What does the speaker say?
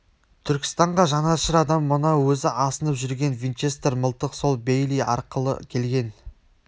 түркістанға жанашыр адам мына өзі асынып жүрген винчестер мылтық сол бейли арқылы келген